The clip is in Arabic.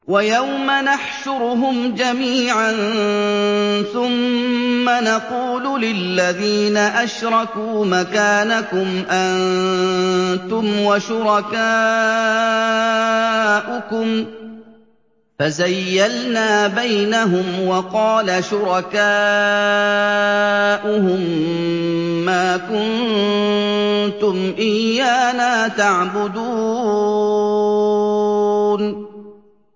وَيَوْمَ نَحْشُرُهُمْ جَمِيعًا ثُمَّ نَقُولُ لِلَّذِينَ أَشْرَكُوا مَكَانَكُمْ أَنتُمْ وَشُرَكَاؤُكُمْ ۚ فَزَيَّلْنَا بَيْنَهُمْ ۖ وَقَالَ شُرَكَاؤُهُم مَّا كُنتُمْ إِيَّانَا تَعْبُدُونَ